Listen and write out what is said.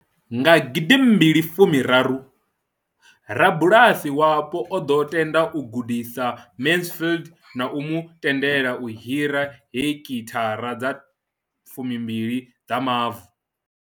Nga gidi mbili furaru, rabulasi wapo o ḓo tenda u gudisa Mansfield na u mu tendela u hira heki thara dza fumi mbili dza mavu.